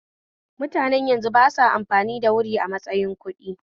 Mutanen yanzu basa amfani da wuri a matsayin kuɗdi